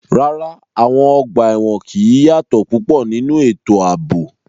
Rárá, àwọn ọgbà ẹ̀wọ̀n kì í yàtọ̀ púpọ̀ nínú ètò ààbò.